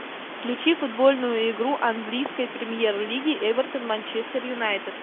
включи футбольную игру английской премьер лиги эвертон манчестер юнайтед